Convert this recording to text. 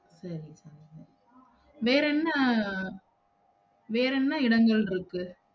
சரி வேறென்ன? வேறென்ன இடங்கள் இருக்கு?